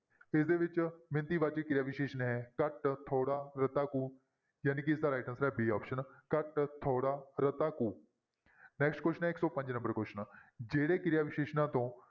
ਇਹਦੇ ਵਿੱਚ ਮਿਣਤੀ ਵਾਚਕ ਕਿਰਿਆ ਵਿਸ਼ੇਸ਼ਣ ਹੈ ਘੱਟ, ਥੋੜ੍ਹਾ, ਰਤਾ ਕੁ ਜਾਣੀ ਕਿ ਇਸਦਾ right answer ਹੈ b option ਘੱਟ, ਥੋੜ੍ਹਾ, ਰਤਾ ਕੁ next question ਹੈ ਇੱਕ ਸੋ ਪੰਜ number question ਜਿਹੜੇ ਕਿਰਿਆ ਵਿਸ਼ੇਸ਼ਣਾਂ ਤੋਂ